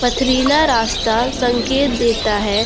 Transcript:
पथरीला रास्ता संकेत देता है।